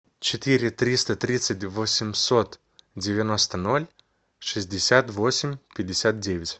четыре триста тридцать восемьсот девяносто ноль шестьдесят восемь пятьдесят девять